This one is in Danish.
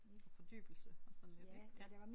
Virkelig fordybelse og sådan lidt ik ja